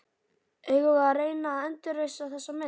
Eigum við að reyna að endurreisa þessa mynd?